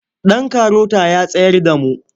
Ɗan karota ya tsayar da mu.